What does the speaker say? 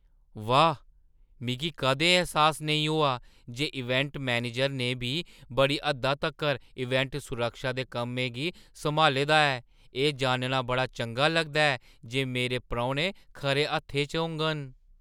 वाह्, मिगी कदें एह् ऐह्सास नेईं होआ जे इवेंट मैनेजरै ने बी बड़ी हद्दा तक्कर इवेंट सुरक्षा दे कम्में गी सम्हाले दा ऐ! एह् जानना बड़ा चंगा लगदा ऐ जे मेरे परौह्‌ने खरे हत्थें च होङन।